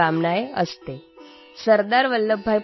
अद्य संस्कृतदिनम् अस्ति